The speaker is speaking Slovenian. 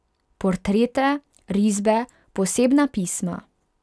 Portrete, risbe, posebna pisma ...